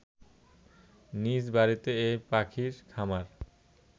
নিজ বাড়িতে এ পাখির খামার